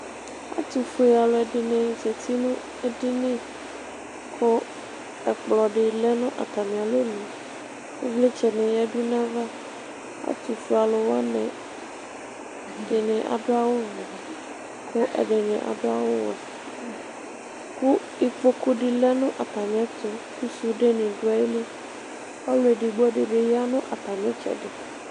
ɛtufue alò ɛdini zati no edini kò ɛkplɔ di lɛ no atami alɔnu ivlitsɛ ni ya du n'ava ɛtufue alò wani ɛdini adu awu vɛ kò ɛdini adu awu wɛ kò ikpoku di lɛ n'atami ɛto kò sude ni do ayili ɔlò edigbo di bi ya no atami itsɛdi.